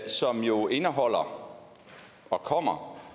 som jo indeholder og kommer